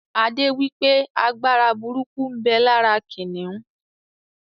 Adé wípé Agbára burúkú ń bẹ lára kìnnìún